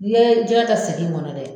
N'i ye jɛgɛ kɛ segi in kɔnɔ dɛ